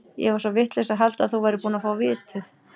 Ég var svo vitlaus að halda að þú værir búinn að fá vitið.